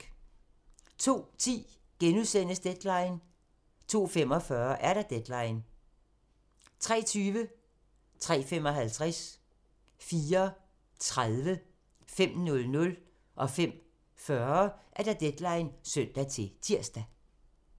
02:10: Deadline * 02:45: Deadline 03:20: Deadline (søn-tir) 03:55: Deadline (søn-tir) 04:30: Deadline (søn-tir) 05:05: Deadline (søn-tir) 05:40: Deadline (søn-tir)